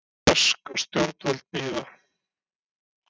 Bresk stjórnvöld bíða